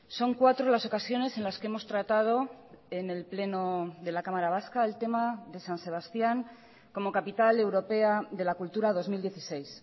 son cuatro las ocasiones en las que hemos tratado en el pleno de la cámara vasca el tema de san sebastián como capital europea de la cultura dos mil dieciséis